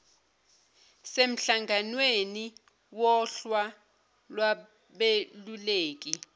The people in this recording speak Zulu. semhlanganweni wohla lwabeluleki